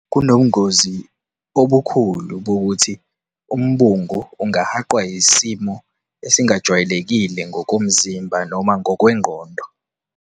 Kunobungozi obukhulu bokuthi umbungu ungahaqwa isimo esingajwayelekile ngokomzimba noma ngokwengqondo.